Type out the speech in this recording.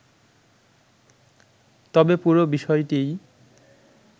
তবে পুরো বিষয়টিই